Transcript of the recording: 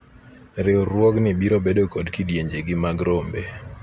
riwruogni biro bedo kod kidienje gi mag rombe